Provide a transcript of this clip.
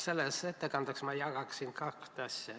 Selles ettekandes ma jagaksin kahte asja.